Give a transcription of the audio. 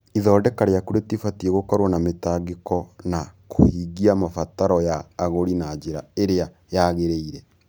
Ithondeka rĩaku rĩbatiĩ gũkorũo na mĩtangĩko na kũhingia mabataro ya agũri na njĩra ĩrĩa yagĩrĩire.